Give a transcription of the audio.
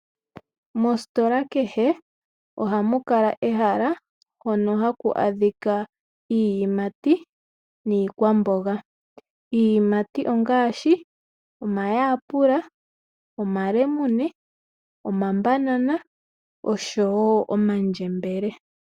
Moositola kehe ohamu kala ehala hono haku adhika iiyimati niikwamboga. Iiyimati ongaashi omayapula, omalemune oshowoo omandjembele.